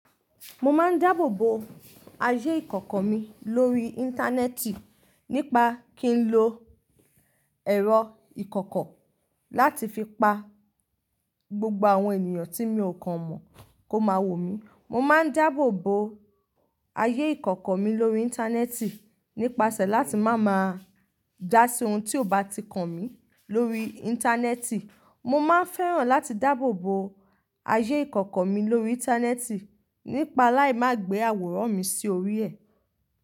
Mo máa ń dáàbò bo ayé ìkọ̀kọ̀ mi lórí Íńtánẹ́ẹ̀tì nípa kí n lo ẹ̀rọ ìkọ̀kọ̀ láti fi pa gbogbo àwọn ènìyàn tí mi ò kan mọ̀ kó máa wò mí. Mo máa ń dáàbò bo ayé ìkọ̀kọ̀ mi lórí Íńtánẹ́ẹ̀tì nípasẹ̀ láti má máa dá sí ohun tí ò bá ti kan mí lórí Íńtánẹ́ẹ̀tì. Mo máa ń fẹ́ràn láti dáàbò bo ayé ìkọ̀kọ̀ mi lórí Íńtánẹ́ẹ̀tì nípa láì má gbé àwòrán mi sí orí ẹ̀.